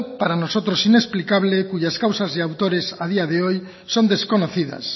para nosotros inexplicable cuyas causas y autores a día de hoy son desconocidas